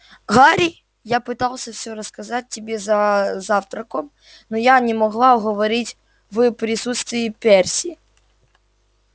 гарри я пыталась всё рассказать тебе за завтраком но я не могла говорить в присутствии перси